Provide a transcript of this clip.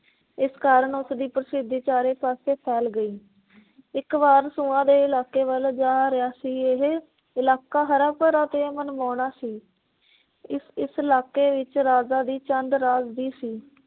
ਇਸ ਕਾਰਨ ਉਸ ਦੀ ਪ੍ਰਸਿੱਧੀ ਚਾਰੇ ਪਾਸੇ ਫੈਲ ਗਈ। ਇਕ ਵਾਰ ਦੇ ਇਲਾਕੇ ਵੱਲ ਜਾ ਰਿਹਾ ਸੀ। ਇਹ ਇਲਾਕਾ ਹਰ ਭਰਾ ਤੇ ਮਨਮੋਹਣਾ ਸੀ। ਇਸ ਇਸ ਇਲਾਕੇ ਵਿੱਚ ਰਾਜਾ ਦੀ ਚੰਦ ਰਾਜ ਦੀ ਸੀ।